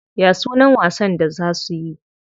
Ya sunan wasan da za suyi?